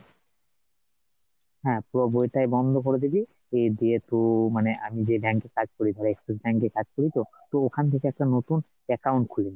হ্যাঁ পুরো বইটাই বন্ধ করে দিবি, দিয়ে তুই যেহেতু মানে আমি যেই bank এ কাজ করি ধর, axis bank এ কাজ করিতো তো ওখান থেকে একটা নতুন account খুলে নিবি,